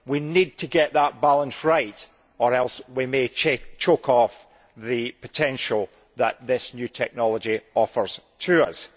We need to get that balance right or else we may choke off the potential that this new technology offers to us.